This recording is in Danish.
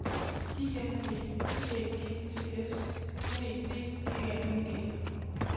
I N D T Æ G T S N E D G A N G